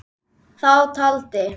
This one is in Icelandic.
Þá taldi